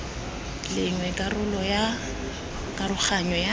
leng karolo ya karoganyo ya